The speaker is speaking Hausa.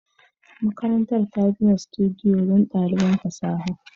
Makarantar ta gina sudiyo don ɗaliban fasaha